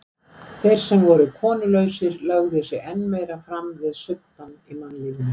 Þeir sem voru konulausir lögðu sig enn meira fram við suddann í mannlífinu.